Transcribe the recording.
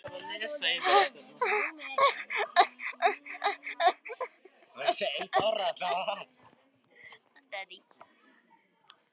María Lilja: Er þetta nauðsynlegt?